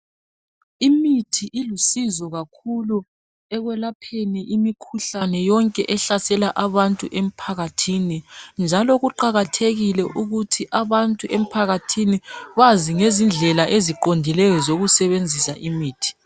Imithi ilusizo kakhulu ekwelapheni imikhuhlane yonke ehlasela abantu emphakathini njalo kuqakathekile ukuthi abantu emphakathini bazi ngezindlela eziqondileyo zokusebenzisa imithi.